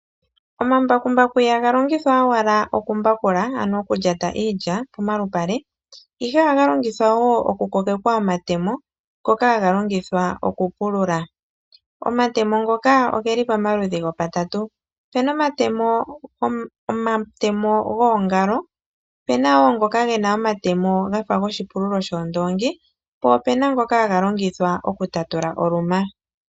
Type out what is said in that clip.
Omambakumbaku ihaga longithwa owala okumbakula, ano okulyata iilya pomalupale, ihe ohaga longithwa wo okukogekwa omatemo ngoka haga longithwa okupulula. Omatemo ngoka ogeli pamaludhi gopatatu. Opu na omatemo goongalo, opu na wo ngoka ge na omatemo ga fa goshipululo shoondoongi, po opu na ngoka haga longithwa okutatula oluma.